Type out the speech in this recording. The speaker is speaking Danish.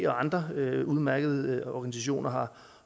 og andre udmærkede organisationer har